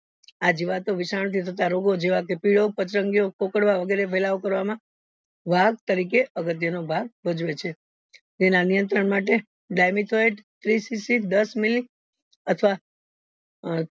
આ જીવતો વિશાન થી થતા રોગો જેવા કે પીળો પચ્રન્ગીયો પોકાડવો વગેરે ફેલાવ માં વા તરીકે ભાગ ભજવે છે તેના નિયંત્રણ માટે dimethoid દસ મિલી અથવા અ